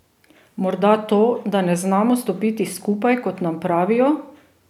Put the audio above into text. Morda to, da ne znamo stopiti skupaj, kot nam pravijo?